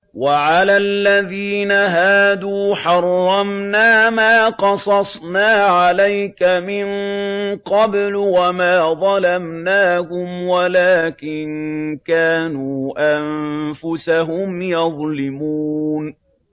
وَعَلَى الَّذِينَ هَادُوا حَرَّمْنَا مَا قَصَصْنَا عَلَيْكَ مِن قَبْلُ ۖ وَمَا ظَلَمْنَاهُمْ وَلَٰكِن كَانُوا أَنفُسَهُمْ يَظْلِمُونَ